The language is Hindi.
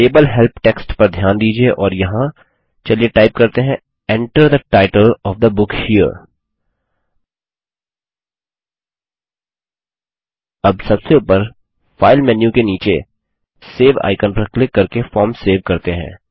लेबल हेल्प टेक्स्ट पर ध्यान दीजिये और यहाँ चलिए टाइप करते हैं Enter the title of the book here अब सबसे ऊपर फाइल मेन्यु के नीचे सेव आइकन पर क्लिक करके फॉर्म सेव करते हैं